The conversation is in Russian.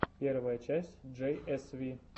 первая часть джей эс ви